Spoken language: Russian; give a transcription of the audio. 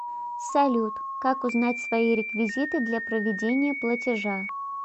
салют как узнать свои реквизиты для проведения платежа